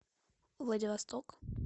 владивосток